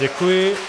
Děkuji.